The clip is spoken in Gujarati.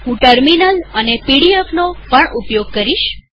હું ટેર્મીનલ અને પીડીએફ નો પણ ઉપયોગ કરીશ